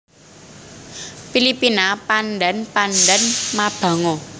Pilipina Pandan Pandan mabango